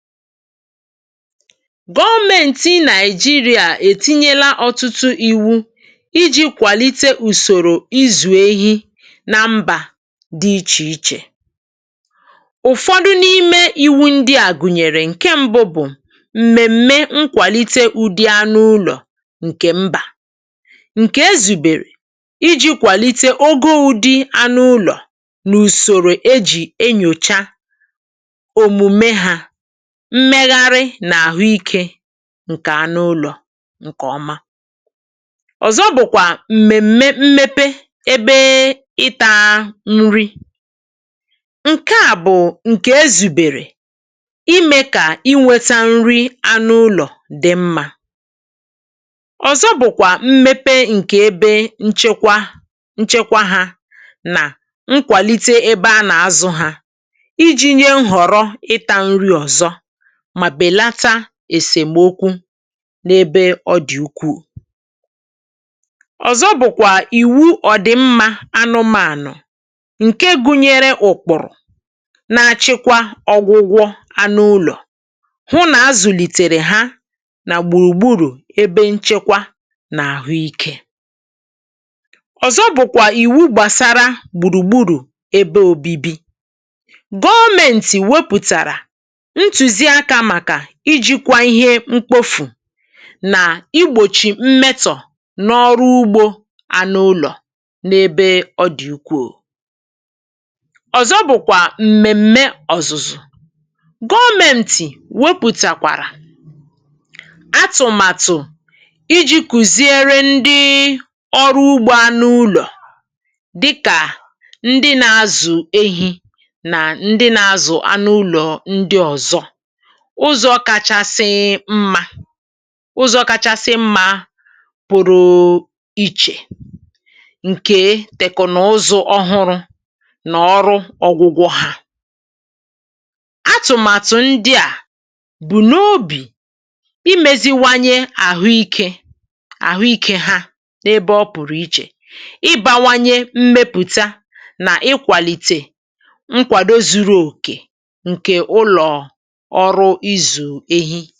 Gọọmenti Nịajirịà ètinyele ọtụtụ iwu̇ iji̇ kwàlite ùsòrò izù ehi nà mbà dị ichè ichè. Ụfọdụ n’ime iwu ndị à gùnyèrè, ǹke mbụ bụ̀ m̀mèm̀me nkwàlite ụdị anụ ụlọ̀ ǹkè mbà, ǹkè ezùbèrè iji̇ kwàlite ogo ụ̇dị anụ ụlọ̀ nà ùsòrò ejì enyòcha omume ha, mmegharị nà àhụ ikė ǹkè anụ ụlọ̀ ǹkè ọma. Ọzọ bụ̀kwà m̀mèm̀me mmepe ebee ịtȧa nri, ǹke à bụ̀ ǹkè ezùbèrè ime kà ị nweta nri anụ ụlọ̀ dị̀ mma. Ọzọ bụ̀kwà, mmepe ǹkè ebe nchekwa nchekwa hȧ nà nkwàlite ebe a nà azụ ha iji̇ nye nhọ̀rọ ịta nri ọ̀zọ ma belata esemokwu n’ebe ọ dị̀ ukwuù. Ọzọ bụ̀kwà ìwu ọ̀ dị̀ mmȧ anụmànụ̀, ǹke gụnyere ụ̀kpụ̀rụ̀ na-achịkwa ọgwụgwọ anụụlọ̀ hụ nà azụ̀lìtèrè ha nà gbùrùgburù ebe nchekwa nà ahụike .Ọzọ bụ̀kwà ìwu gbàsara gbùrùgburù ebe òbibi, Gọọmenti wepụ̀tàrà ntụziaka maka ijikwa ihe mkpofù nà igbòchi mmetọ̀ n’ọrụ ugbȯ anụ ụlọ̀ n’ebe ọ dị̀ ukwuu. Ọzọ bụ̀kwà m̀mèm̀me ọ̀zụ̀zụ̀, Gọọmeṁtị̀ wepụ̀tàkwàrà atụ̀matụ̀ iji̇ kuziere ndịị ọrụ ugbo anụ ụlọ̀ dịkà ndị na-azụ̀ ehi̇ nà ndị na-azụ̀ anụ ụlọ̀ ndị ọ̀zọ ,ụzọ kachasịị mma ụzọ kachasị mma pụ̀rụ̀ ichè ǹkè tèkụ̀nụzụ ọhụrụ nà ọrụ ọ̀gwụ̇gwọ ha ,atụ̀màtụ̀ ndị à bụ̀ n’obi imėziwanye ahụike àhụikė ha n’ebe ọ pụ̀rụ̀ ichè ,ịbȧwanye mmepụ̀ta nà ịkwàlìtè nkwàdo zuru òkè ǹkè ụlọ̀ ọrụ ịzụ ehi.